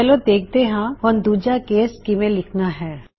ਚਲੋ ਦੇਖਦੇ ਹਾਂ ਹੁਣ ਦੂਜਾ ਕੇਸ ਕਿਵੇਂ ਲਿਖਨਾ ਹੈ